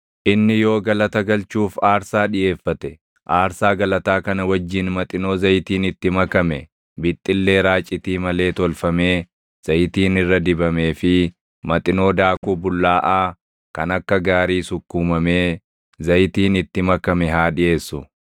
“ ‘Inni yoo galata galchuuf aarsaa dhiʼeeffate, aarsaa galataa kana wajjin maxinoo zayitiin itti makame, bixxillee raacitii malee tolfamee zayitiin irra dibamee fi maxinoo daakuu bullaaʼaa kan akka gaarii sukkuumamee zayitiin itti makame haa dhiʼeessu.